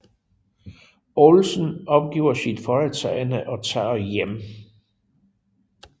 Olsen opgiver sit foretagende og tager hjem